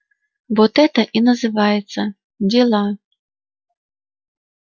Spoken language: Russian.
вот это и называется дела